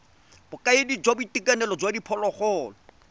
bokaedi jwa boitekanelo jwa diphologolo